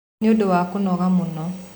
Nĩũndũ wa kũnoga mũno